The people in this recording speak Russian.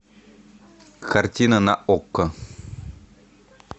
картина на окко